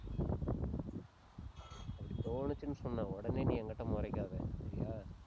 அப்படி தோணுச்சுன்னு சொன்னா உடனே நீ என்கிட்ட முறைக்காத சரியா?